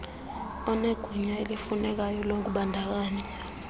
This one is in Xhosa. onegunya elifunekayo lokubandakanya